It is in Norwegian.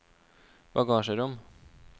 bagasjerom